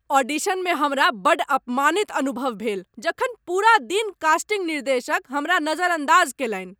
ऑडिशनमे हमरा बड्ड अपमानित अनुभव भेल जखन पूरा दिन कास्टिंग निर्देशक हमरा नजरअन्दाज कयलनि।